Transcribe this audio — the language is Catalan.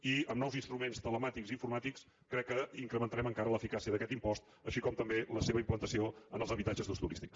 i amb nous instruments telemàtics i informàtics crec que incrementarem encara l’eficàcia d’aquest impost així com també la seva implantació en els habitatges d’ús turístic